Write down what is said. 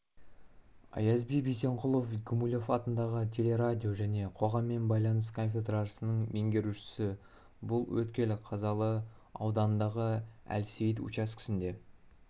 аязби бейсенқұлов гумилев атындағы телерадио және қоғаммен байланыс кафедрасының меңгерушісі бұл өткел қазалы ауданындағы әлсейіт учаскесінде